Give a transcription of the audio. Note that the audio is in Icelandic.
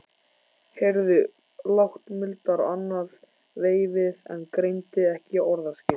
Heyrði lágt muldur annað veifið en greindi ekki orðaskil.